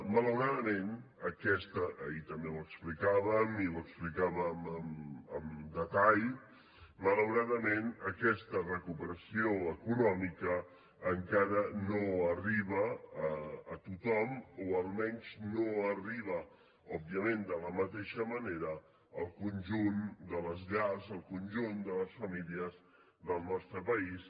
malauradament aquesta ahir també ho explicàvem i ho explicàvem amb detall recuperació econòmica encara no arriba a tothom o almenys no arriba òbviament de la mateixa manera al conjunt de les llars al conjunt de les famílies del nostre país